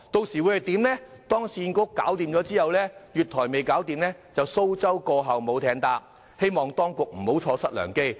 否則，當市建局完成重建而月台還未擴建的話，便會出現"蘇州過後無艇搭"的情況，希望當局不要錯失良機。